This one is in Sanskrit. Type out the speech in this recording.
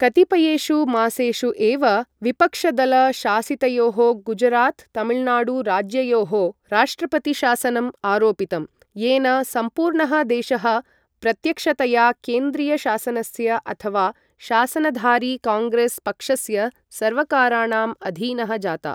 कतिपयेषु मासेषु एव विपक्षदल शासितयोः गुजरात् तमिळुनाडु राज्ययोः राष्ट्रपति शासनम् आरोपितम्, येन सम्पूर्णः देशः प्रत्यक्षतया केन्द्रीय शासनस्य अथवा शासनधारि काङ्ग्रेस् पक्षस्य सर्वकाराणाम् अधीनः जातः।